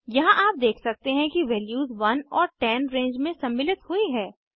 यहाँ आप देख सकते हैं कि वैल्यूज 1 और 10 रेंज में सम्मिलित हुई हैं